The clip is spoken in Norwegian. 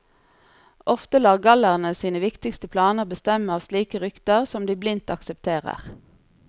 Ofte lar gallerne sine viktigste planer bestemme av slike rykter som de blindt aksepterer.